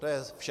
To je vše.